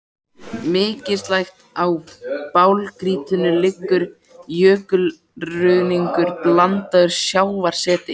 Mislægt á blágrýtinu liggur jökulruðningur blandaður sjávarseti.